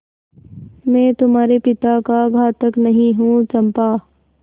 मैं तुम्हारे पिता का घातक नहीं हूँ चंपा